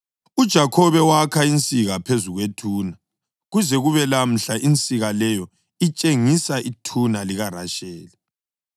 UJakhobe wakha insika phezu kwethuna, kuze kube lamhla insika leyo itshengisa ithuna likaRasheli.